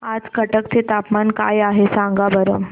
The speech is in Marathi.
आज कटक चे तापमान काय आहे सांगा बरं